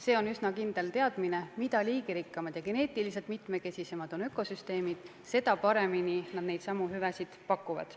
Ja on üsna kindel teadmine: mida liigirikkamad ja geneetiliselt mitmekesisemad on ökosüsteemid, seda paremini nad neidsamu hüvesid pakuvad.